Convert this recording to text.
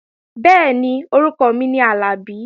Bẹ́ẹ̀ni, orúkọ mi ni Àlàbí